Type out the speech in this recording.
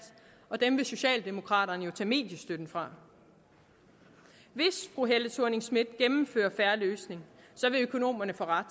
og dem vil socialdemokraterne jo tage mediestøtten fra hvis fru helle thorning schmidt gennemfører fair løsning vil økonomerne få ret